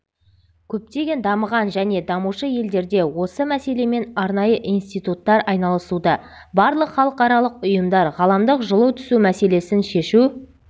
көптеген дамыған және дамушы елдерде осы мәселемен арнайы институттар айналысуда барлық халықаралық ұйымдар ғаламдық жылу түсу мәселесін шешу